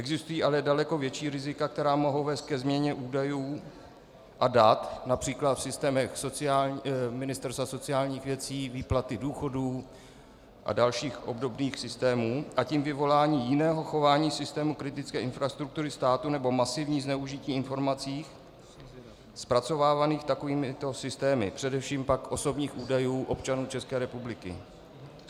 Existují ale daleko větší rizika, která mohou vést ke změně údajů a dat například v systémech Ministerstva sociálních věcí, výplaty důchodů a dalších obdobných systémů, a tím vyvolání jiného chování systému kritické infrastruktury státu nebo masivní zneužití informací zpracovávaných takovýmito systémy, především pak osobních údajů občanů České republiky.